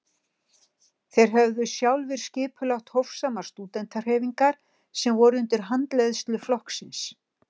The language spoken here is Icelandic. Þeir höfðu sjálfir skipulagt hófsamar stúdentahreyfingar sem voru undir handleiðslu flokksins.